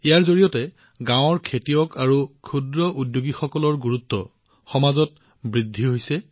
ইয়াৰ জৰিয়তে গাঁৱত খেতি কৰা কৃষক আৰু বাটাচা তৈয়াৰ কৰা ক্ষুদ্ৰ উদ্যোগীসকলৰ গুৰুত্ব সমাজত প্ৰতিষ্ঠিত হৈছে